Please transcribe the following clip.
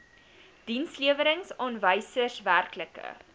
dienslewerings aanwysers werklike